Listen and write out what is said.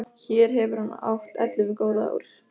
Hér hefur hann átt ellefu góð ár.